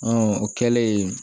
o kɛlen